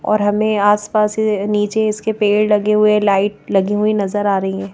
और हमें आसपास नीचे इसके पेड़ लगे हुए लाइट लगी हुई नजर आ रही हैं।